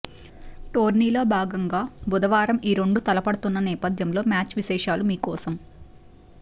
టోర్నీలో భాగంగా బుధవారం ఈ రెండు తలపడుతున్న నేపథ్యంలో మ్యాచ్ విశేషాలు మీకోసం